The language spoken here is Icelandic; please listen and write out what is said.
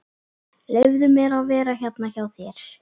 Leyfðu mér að vera hérna hjá þér.